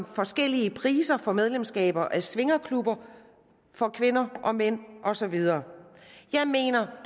forskellige priser for medlemskaber af svingerklubber for kvinder og mænd og så videre jeg mener